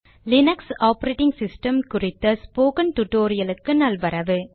Linux operating system குறித்த spoken டுடோரியலுக்கு நல்வரவு